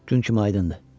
Gün kimi aydındır.